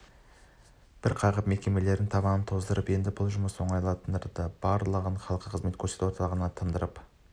бір қағып мекемелердің табанын тоздыратын енді бұл жұмыс оңтайландырылды барлығын халыққа қызмет көрсету орталығынан тындырып